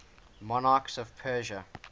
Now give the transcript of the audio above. monarchs of persia